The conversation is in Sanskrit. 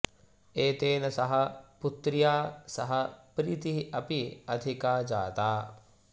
एतेन सह पुत्र्या सह प्रीतिः अपि अधिका जाता